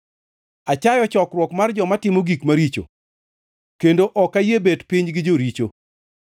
Achayo chokruok mar joma timo gik maricho kendo ok ayie bet piny gi joricho.